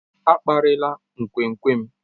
A kparịla nkwenkwe m.